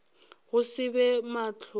go se be mahlong a